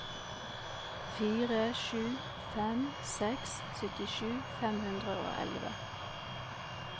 fire sju fem seks syttisju fem hundre og elleve